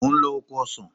Mò ń lọ oko ọsàn.